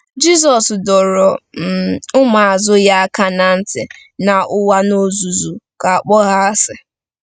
Jizọs dọrọ um ụmụazụ ya aka ná ntị na ụwa n'ozuzu ga-akpọ ha asị.